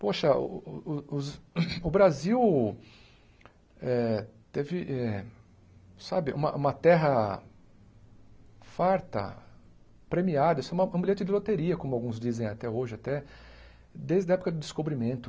Poxa, o o os o Brasil eh teve eh sabe uma uma terra farta, premiada, isso é um bilhete de loteria, como alguns dizem até hoje até, desde a época do descobrimento.